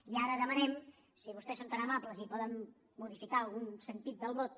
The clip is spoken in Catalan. i ara demanem si vostès són tan amables i poden modificar algun sentit del vot